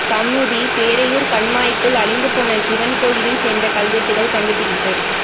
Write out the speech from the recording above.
கமுதி பேரையூர் கண்மாய்க்குள் அழிந்து போன சிவன் கோவிலைச் சேர்ந்த கல்வெட்டுகள் கண்டுபிடிப்பு